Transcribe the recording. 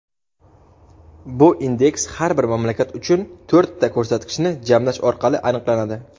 Bu indeks har bir mamlakat uchun to‘rtta ko‘rsatkichni jamlash orqali aniqlanadi:.